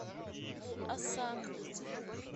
оса